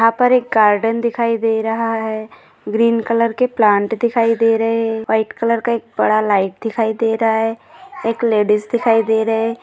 यहाँ पर एक गार्डन दिखाई दे रहा है ग्रीन कलर के प्लांट दिखाई दे रहे है व्हाइट कलर का एक बड़ा लाइट दिखाई दे रहा है एक लेडीज दिखाई दे रहे है।